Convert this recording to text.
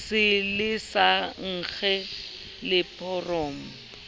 se le sa nkge leseporo